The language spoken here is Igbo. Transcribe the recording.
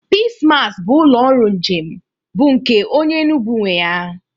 Peace Mass bụ ụlọ ọrụ njem bụ nke onye Enugu nwe ya.